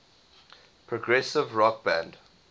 progressive rock band